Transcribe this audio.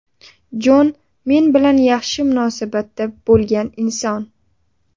Jon men bilan yaxshi munosabatda bo‘lgan inson.